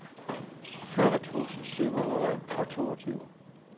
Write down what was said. fyrre tusind syv hundrede og toogtyve